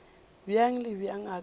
bjang le bjang a ka